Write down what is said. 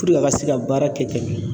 a ka se ka baara kɛ ɲan.